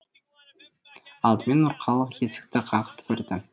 алдымен нұрқалық есікті қағып көрді